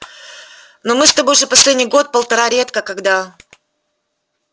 но мы с тобой же последний год-полтора редко когда